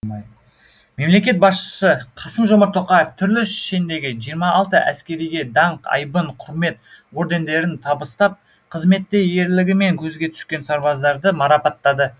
мемлекет басшысы қасым жомарт тоқаев түрлі шендегі жиырма алты әскериге даңқ айбын құрмет ордендерін табыстап қызметте ерлігімен көзге түскен сарбаздарды марапаттады